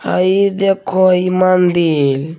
हई देखो इ मंदिर--